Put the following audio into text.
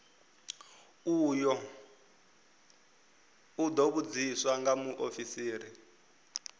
u ḓo vhudziswa nga muofisiri